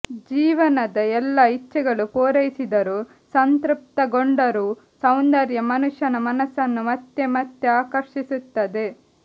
ಜೀವನದ ಎಲ್ಲ ಇಚ್ಛೆಗಳು ಪೂರೈಸಿದರೂ ಸಂತೃಪ್ತಗೊಂಡರೂ ಸೌಂದರ್ಯ ಮನುಷ್ಯನ ಮನಸ್ಸನ್ನು ಮತ್ತೆ ಮತ್ತೆ ಆಕರ್ಷಿಸುತ್ತದೆ